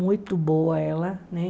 Muito boa ela, né?